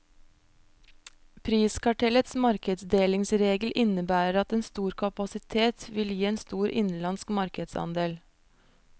Priskartellets markedsdelingsregel innebærer at en stor kapasitet vil gi en stor innenlandsk markedsandel.